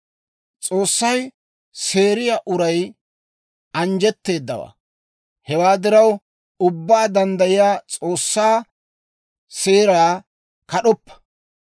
«S'oossay seeriyaa uray anjjetteedawaa; hewaa diraw, Ubbaa Danddayiyaa S'oossaa seeraa kad'oppa.